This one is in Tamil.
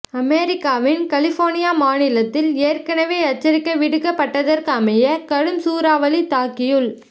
அமெரிக்காவின் கலிபோனியா மாநிலத்தில் ஏற்கனவே எச்சரிக்கை விடுக்கப்பட்டதற்கமைய கடும் சூறாவளி தாக்கியுள்